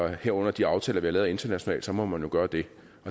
herunder de aftaler vi har lavet internationalt så må man jo gøre det